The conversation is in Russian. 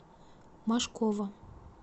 мошкова